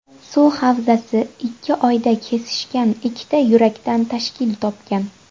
Suv havzasi ikki joyda kesishgan ikkita yurakdan tashkil topgan.